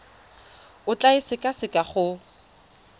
o tla e sekaseka go